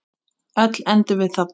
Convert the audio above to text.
Öll endum við þarna.